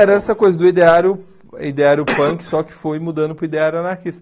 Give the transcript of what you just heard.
Era essa coisa do ideário ideário punk, só que foi mudando para o ideário anarquista.